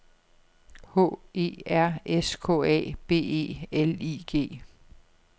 H E R S K A B E L I G